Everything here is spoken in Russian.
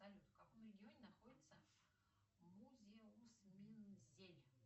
салют в каком регионе находится музеус мензель